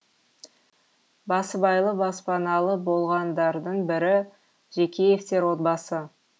басыбайлы баспаналы болғандардың бірі жекеевтер отбасы